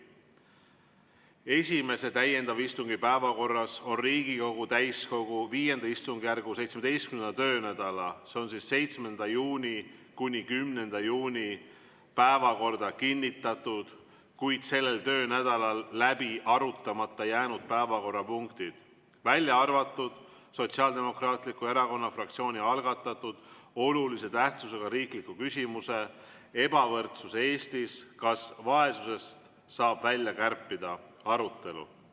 Esimese täiendava istungi päevakorras on Riigikogu täiskogu V istungjärgu 17. töönädala, s.o 7. juuni – 10. juuni päevakorda kinnitatud, kuid sellel töönädalal läbi arutamata jäänud päevakorrapunktid, välja arvatud Sotsiaaldemokraatliku Erakonna fraktsiooni algatatud olulise tähtsusega riikliku küsimuse "Ebavõrdsus Eestis – kas vaesusest saab välja kärpida?" arutelu.